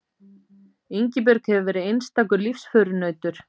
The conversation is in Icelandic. Ingibjörg hefur verið einstakur lífsförunautur.